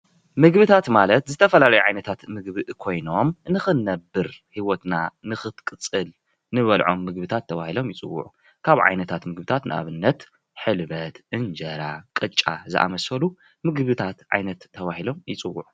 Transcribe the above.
ምግብታት ማለት ዝተፈላለዩ ዓይነታት ምግቢ ኮይኖም ንኽንነብር ሂወትና ንኽትቅፅል እንበልዖም ምግብታት ተባሂሎም ይፅውዑ። ካብ ዓይነታት ምግብታት ንኣብነት ሕልበት፣ እንጀራ፣ ቅጫ ዝኣምሳሰሉ ምግብታት ዓይነት ተባሂሎም ይፅውዑ።